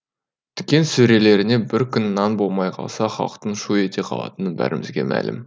дүкен сөрелерінде бір күн нан болмай қалса халықтың шу ете қалатыны бәрімізге мәлім